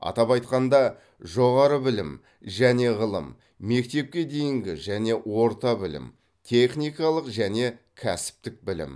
атап айтқанда жоғары білім және ғылым мектепке дейінгі және орта білім техникалық және кәсіптік білім